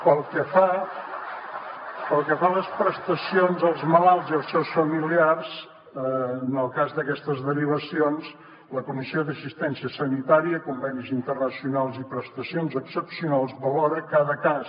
pel que fa a les prestacions als malalts i els seus familiars en el cas d’aquestes derivacions la comissió d’assistència sanitària per a convenis internacionals i prestacions excepcionals valora cada cas